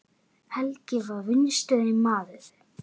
Helgi var vinstri maður.